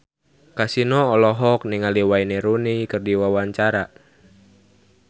Kasino olohok ningali Wayne Rooney keur diwawancara